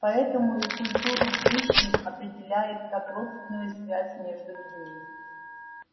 поэтому и культуру пришвин определяет как родственную связь между людьми